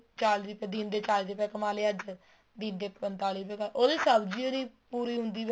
ਚਾਲੀ ਰੁਪਏ ਦਿਨ ਦੇ ਚਾਲੀ ਰੁਪਏ ਕਮਾਹ ਲਿਆ ਅੱਜ ਦਿਨ ਦੇ ਪੰਤਾਲੀ ਰੁਪਏ ਉਹਦੇ ਚ ਸਬਜੀ ਹੋ ਨਹੀਂ ਪੂਰੀ ਹੁੰਦੀ ਹੈਗੀ